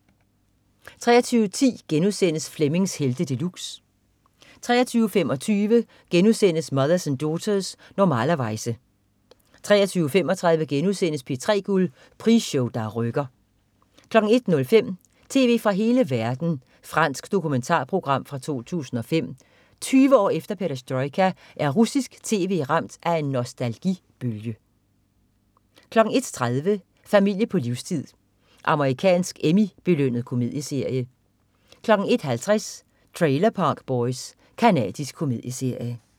23.10 Flemmings Helte De Luxe* 23.25 Mothers and Daughters. Normalerweize* 23.35 P3 Guld. Prisshow der rykker* 01.05 Tv fra hele verden. Fransk dokumentarprogram fra 2005.Tyve år efter perestrojka er russisk tv ramt af en nostalgibølge 01.30 Familie på livstid. Amerikansk Emmy-belønnet komedieserie 01.50 Trailer Park Boys. Canadisk komedieserie